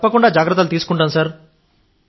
తప్పకుండా జాగ్రత్తలు తీసుకుంటాం సార్